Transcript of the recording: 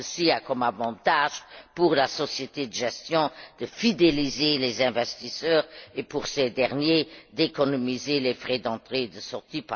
Ceci a l'avantage, pour la société de gestion, de fidéliser les investisseurs et, pour ces derniers, d'économiser les frais d'entrée et de sortie.